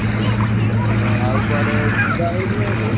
ଓହୋ ଆଉ କୁଆଡେ ଯିବା ହଉଛି ନା ଏଥର?